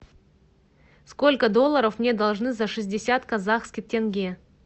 сколько долларов мне должны за шестьдесят казахских тенге